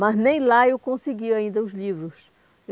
Mas nem lá eu conseguia ainda os livros.